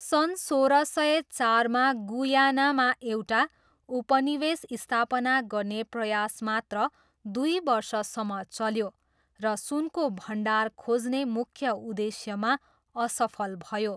सन् सोह्र सय चारमा गुयानामा एउटा उपनिवेश स्थापना गर्ने प्रयास मात्र दुई वर्षसम्म चल्यो र सुनको भण्डार खोज्ने मुख्य उद्देश्यमा असफल भयो।